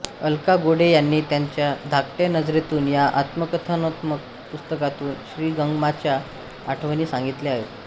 अलका गोडे यांनी त्यांच्या धाकट्या नजरेतून या आत्मकथनात्मक पुस्तकातून श्रीगमांच्या आठवणी सांगितल्या आहेत